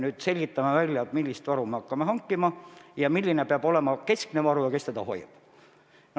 Me selgitame välja, millist varu me hakkame hankima, milline peab olema keskne varu ja kes seda hoiab.